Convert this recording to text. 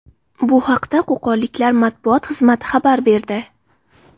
Bu haqda qo‘qonliklar matbuot xizmati xabar berdi.